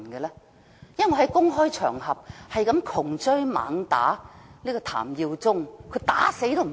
我曾在公開場合窮追猛打追問譚耀宗，但他沒有回答。